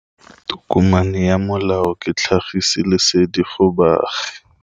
Tokomane ya molao ke tlhagisi lesedi go baagi.